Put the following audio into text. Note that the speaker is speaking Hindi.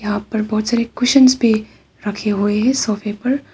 यहां पर बहोत सारे कुशन्स भी रखे हुए हैं सोफे पर।